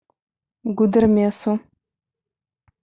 гудермесу